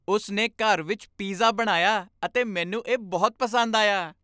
ਉਸ ਨੇ ਘਰ ਵਿੱਚ ਪੀਜ਼ਾ ਬਣਾਇਆ ਅਤੇ ਮੈਨੂੰ ਇਹ ਬਹੁਤ ਪਸੰਦ ਆਇਆ।